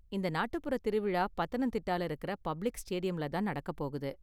இந்த நாட்டுப்புறத் திருவிழா பத்தனந்திட்டால இருக்குற பப்ளிக் ஸ்டேடியம்ல தான் நடக்க போகுது.